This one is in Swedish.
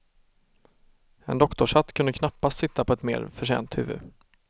En doktorshatt kunde knappast sitta på ett mer förtjänt huvud.